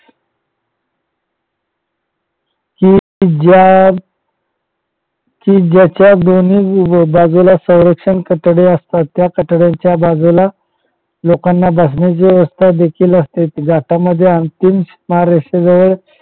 हि ज्या कि ज्याच्यात दोन्ही बाजूला संरक्षण कठडे असतात त्या कठड्याच्या बाजूला लोकांना बसण्याची व्यवस्था देखील असते ज्याच्यामध्ये अंतिम महाराष्ट्राजवळ